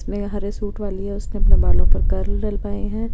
इसमें हरे सूट वाली है उसने अपने बालों पर कर्ल डलवाए हैं।